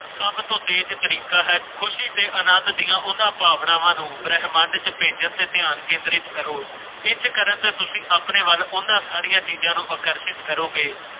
ਖੁਲ੍ਹੇ ਅਨੰਦ ਦੀਆਂ ਉਨ੍ਹਾਂ ਭਾਵਨਾਵਾਂ ਨੂੰ ਪ੍ਰੈਗਨੈਂਟ ਤੇ ਗਿਆਨ ਧਿਆਨ ਕੇਂਦਰਿਤ ਕਰੋ ਤੁਸੀਂ ਆਪਣੇ ਵਾਲਾਂ ਵਾਲੀਆਂ ਖੇਡਾਂ ਨੂੰ ਲੋਕ ਅਰਪਣ ਕਰੋਗੇ